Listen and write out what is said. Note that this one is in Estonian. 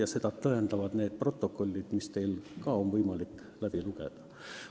Ja seda tõendavad protokollid, mida ka teil on võimalik lugeda.